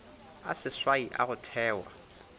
a seswai a go thewa